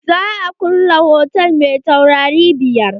Za a kulle hotal mai taurari biyar.